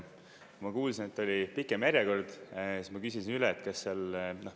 Ma kuulsin, et oli pikem järjekord, siis ma küsisin üle, kas seal …